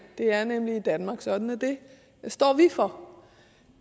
det er nemlig i danmark sådan at det står vi for